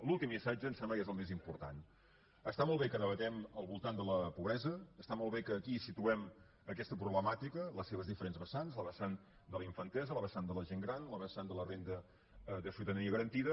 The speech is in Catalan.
l’últim missatge em sembla que és el més important està molt bé que debatem al voltant de la pobresa està molt bé que aquí situem aquesta problemàtica les seves diferents vessants la vessant de la infantesa la vessant de la gent gran la vessant de la renda de ciutadania garantida